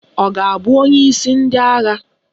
Ọ ga-abụ onyeisi ndị agha?